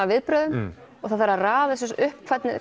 viðbrögðum og það þarf að raða þessu upp hvernig